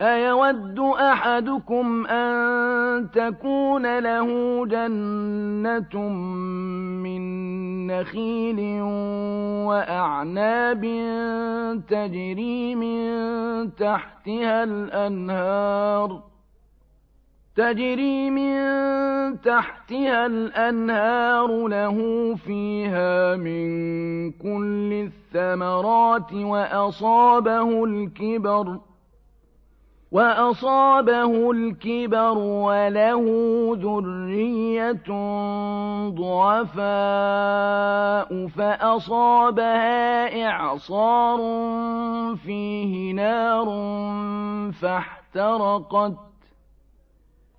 أَيَوَدُّ أَحَدُكُمْ أَن تَكُونَ لَهُ جَنَّةٌ مِّن نَّخِيلٍ وَأَعْنَابٍ تَجْرِي مِن تَحْتِهَا الْأَنْهَارُ لَهُ فِيهَا مِن كُلِّ الثَّمَرَاتِ وَأَصَابَهُ الْكِبَرُ وَلَهُ ذُرِّيَّةٌ ضُعَفَاءُ فَأَصَابَهَا إِعْصَارٌ فِيهِ نَارٌ فَاحْتَرَقَتْ ۗ